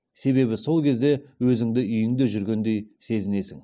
себебі сол кезде өзіңді үйіңде жүргендей сезесің